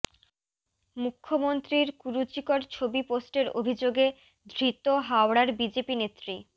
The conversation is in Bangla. মুখ্যমন্ত্রীর কুরুচিকর ছবি পোস্টের অভিযোগে ধৃত হাওড়ার বিজেপি নেত্রী